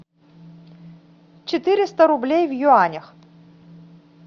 четыреста рублей в юанях